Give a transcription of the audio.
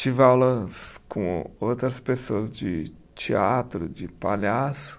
Tive aulas com outras pessoas de teatro, de palhaço.